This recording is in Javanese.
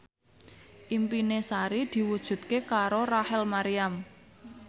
impine Sari diwujudke karo Rachel Maryam